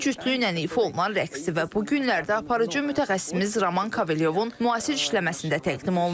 Bu cütlüklə ifa olunan rəqs bu günlərdə aparıcı mütəxəssisimiz Roman Kavelyovun müasir işləməsində təqdim olunur.